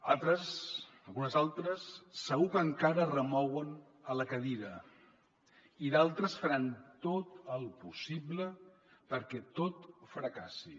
altres algunes altres segur que encara es remouen a la cadira i d’altres faran tot el possible perquè tot fracassi